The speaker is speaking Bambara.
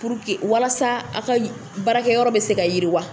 walasa aw ka baara kɛ yɔrɔ be se ka yiriwa.